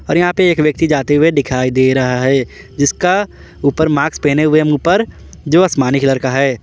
और यहां पे एक व्यक्ति जाते हुए दिखाई दे रहा है जिसका ऊपर मास्क पहने हुए ऊपर जो आसमानी कलर का है।